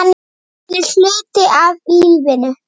Hann er hluti af lífinu.